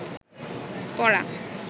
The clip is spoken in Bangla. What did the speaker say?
পড়া